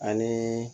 Ani